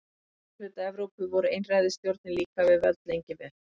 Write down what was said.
Í suðurhluta Evrópu voru einræðisstjórnir líka við völd lengi vel.